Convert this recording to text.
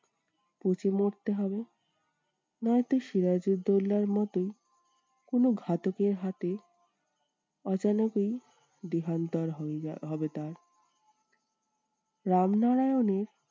পচে মরতে হবে। নয়তো সিরাজুদ্দোল্লার মতোই কোনো ঘাতকের হাতে দেহান্তর হয়ে হবে তার। রামনারায়ণের